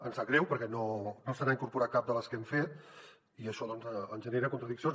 ens sap greu perquè no se n’ha incorporat cap de les que hem fet i això ens genera contradiccions